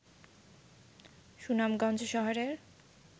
সুনামগঞ্জ শহরের